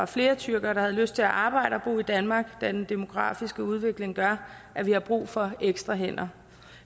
flere tyrkere havde lyst til at arbejde og bo i danmark da den demografiske udvikling gør at vi har brug for ekstra hænder